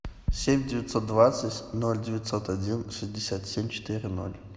семь девятьсот двадцать ноль девятьсот один шестьдесят семь четыре ноль